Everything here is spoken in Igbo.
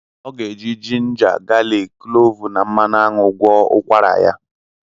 Ọ ga-eji jinja, galik, kloovu, na mmanụ aṅụ gwọọ ụkwara ya.